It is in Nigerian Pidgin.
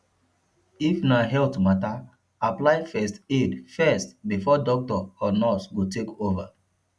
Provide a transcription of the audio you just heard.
if na health matter apply first aid first before doctor or nurse go take over